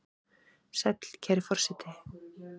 Sæll, kæri forseti!